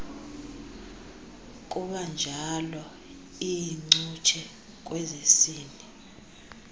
kubanjalo iincutshe kwezesini